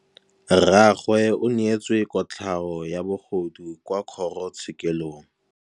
Rragwe o neetswe kotlhaô ya bogodu kwa kgoro tshêkêlông.